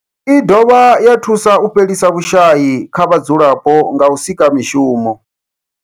I dovha ya thusa u fhelisa vhushayi kha vhadzulapo nga u sika mishumo.